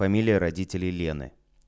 фамилия родителей лены